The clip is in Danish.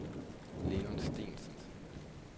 Leon Steensen